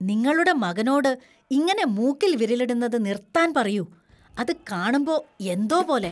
നിങ്ങളുടെ മകനോട് ഇങ്ങനെ മൂക്കിൽ വിരലിടുന്നത് നിർത്താൻ പറയൂ. അത് കാണുമ്പോ എന്തോ പോലെ.